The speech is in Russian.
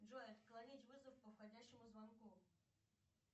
джой отклонить вызов по входящему звонку